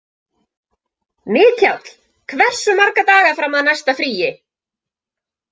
Mikjáll, hversu marga daga fram að næsta fríi?